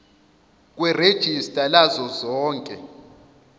kwerejista lazo zonke